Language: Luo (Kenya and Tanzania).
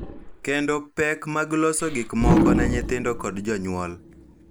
Kendo pek mag loso gik moko ne nyithindo kod jonyuol.